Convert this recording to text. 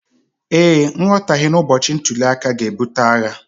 ee, nghọtahie n’ụbọchị ntuli aka ga-ebute agha